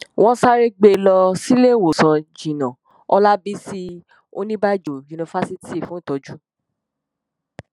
wọn sáré gbé e lọ síléèwòsàn jẹnà ọlábísí oníbàájọ yunifásitì fún ìtọjú